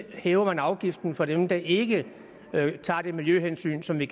hæver afgiften for dem der ikke tager de miljøhensyn som vi